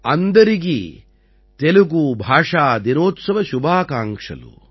अन्दरिकी तेलुगू भाषा दिनोत्सव शुभाकांक्षलु |